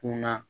Kunna